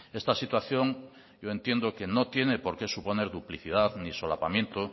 esta situación yo entiendo que no tiene por qué suponer duplicidad ni solapamiento